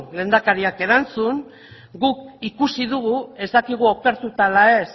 lehendakariak erantzun guk ikusi dugu ez dakigu okertuta ala ez